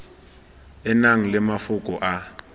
e nang le mafoko a